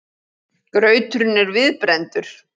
Grauturinn er viðbrenndur.